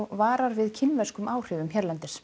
varar við kínverskum áhrifum hérlendis